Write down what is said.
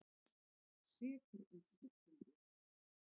Sekur um spillingu